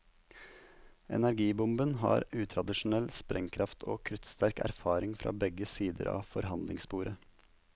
Energibomben har utradisjonell sprengkraft og kruttsterk erfaring fra begge sider av forhandlingsbordet.